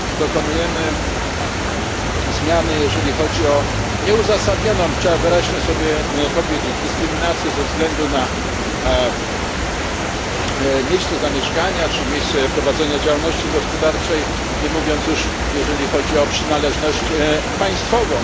Dokonujemy zmiany jeżeli chodzi o nieuzasadnioną trzeba wyraźnie to sobie powiedzieć dyskryminację ze względu na miejsce zamieszkania czy miejsce prowadzenia działalności gospodarczej, nie mówiąc już o przynależności państwowej.